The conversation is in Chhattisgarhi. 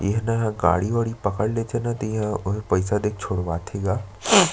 इहा न गाड़ी वाड़ी पकड़ लेथे ना त इहा पइसा देके छुड़वाथे गा--